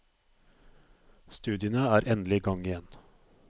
Studiene er endelig i gang igjen.